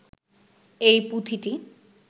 এই পুঁথিটি